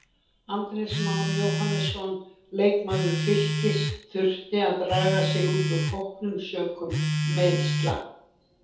Andrés Már Jóhannesson leikmaður Fylkis þurfti að draga sig út úr hópnum sökum meiðsla.